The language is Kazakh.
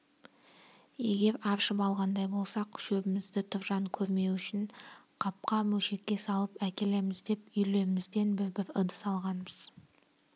егер аршып алғандай болсақ шөбімізді тұржан көрмеуі үшін қапқа мөшекке салып әкелеміз деп үйлерімізден бір-бір ыдыс алғанбыз